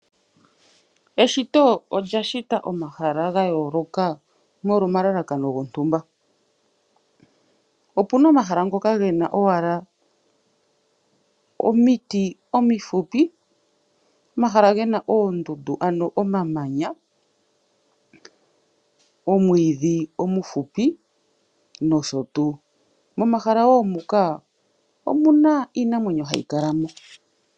Eshito olya shita omahala gayooloka, molwa omalakano gontumba. Opuna omahala ngoka gena owala omiti omufupi, omahala gena oondundu ano omamanya , omwiidhi omufupi noshotuu. Momahala muka omuna iinamwenyo hayi kala mo.